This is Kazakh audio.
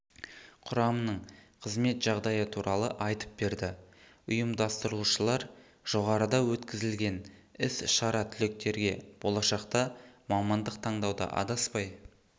құрамының қызмет жағдайы туралы айтып берді ұйымдастырушылар жоғарыда өткізілген іс-шара түлектерге болашақта мамандық таңдауда адаспай